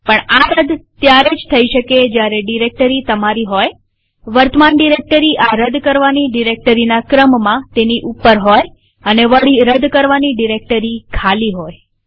પણ આ રદ ત્યારે જ થઇ શકે જયારે ડિરેક્ટરી તમારી હોયવર્તમાન ડિરેક્ટરી આ રદ કરવાની ડિરેક્ટરીના ક્રમમાં તેની ઉપર હોયઅને વળી રદ કરવાની ડિરેક્ટરી ખાલી હોય